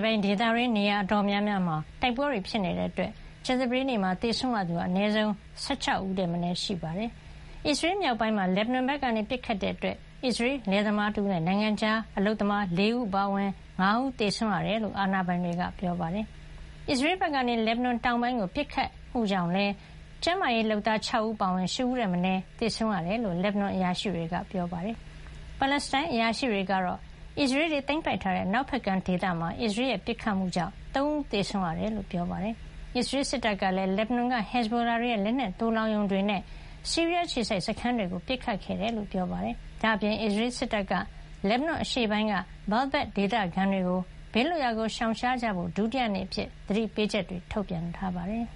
ပိုင်းဒေသတွင်း နေရာအတော်များများမှာ တိုက်ပွဲတွေ ဖြစ်နေတာကြောင့် ကြာသပတေးနေ့မှာ သေဆုံးသူ အနည်းဆုံး ၁၆ ယောက်ထက် မနည်းရှိနေပါတယ်။ အစ္စရေးမြောက်ပိုင်းမှာ လက်ဘနွန်ဘက်ကနေပစ်ခတ်မှုကြောင့် အစ္စရေးလယ်သမားတဦးနဲ့ နိုင်ငံခြား အလုပ်သမား ၄ ဦးအပါအဝင် ၅ ဦး သေဆုံးခဲ့ရတယ်လို့ အာဏာပိုင်တွေက ပြောပါတယ်။ အစ္စရေး ဘက်ကနေ လက်ဘနွန်တောင်ပိုင်းကိုပစ်ခတ်မှုကြောင့်လည်း ကျန်းမာရေးလုပ်သား ၆ ဦး အပါအဝင် ၈ ဦးထက်မနည်း သေဆုံးခဲ့ရတယ်လို့ လက်ဘနွန်အရာရှိတွေက ပြောပါတယ်။ ပါလက်စတိုင်းအရာရှိတွေကတော့ အစ္စရေးတွေသိမ်းပိုက်ထားတဲ့ အနောက်ဖက်ကမ်းဒေသမှာ အစ္စရေးရဲ့ပစ်ခတ်မှုကြောင့် ၃ ဦးသေဆုံးခဲ့ရတယ်လို့ ပြောပါတယ်။ အစ္စရေးစစ်တပ်ကလည်း လက်ဘနွန်က ဟက်ဇ်ဘိုလာတွေရဲ့ လက်နက်သိုလှောင်ရုံတွေနဲ့ ဆီးရီးယား အခြေစိုက်စခန်းတွေကို ပစ်ခတ်ခဲ့တယ်လို့ ပြောပါတယ်။ ဒါ့အပြင် အစ္စရေးစစ်တပ်က လက်ဘနွန်အရှေ့ပိုင်းက ဘာလ်ဘက် ဒေသခံတွေကို ဘေးလွတ်ရာရှောင်ကြဖို့ ဒုတိယနေ့အဖြစ် သတိပေးချက်ထုတ်ပြန်ထားပါတယ်။